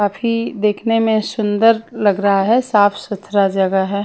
काफी देखने में सुंदर लग रहा है साफ सुथराजगह है।